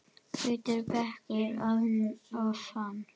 Hvítur bekkur að ofan.